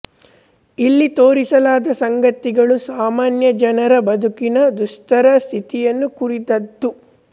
ಇಲ್ಲಿ ತೋರಿಸಲಾದ ಸಂಗತಿಗಳು ಸಾಮಾನ್ಯ ಜನರ ಬದುಕಿನ ದುಸ್ತರ ಸ್ಥಿತಿಯನ್ನು ಕುರಿತಾದ್ದು